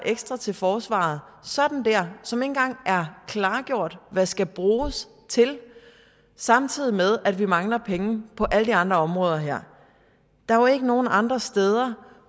ekstra til forsvaret sådan dér som engang er klargjort hvad skal bruges til samtidig med at vi mangler penge på alle de andre områder her der er jo ikke nogen andre steder